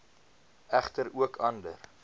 egter ook ander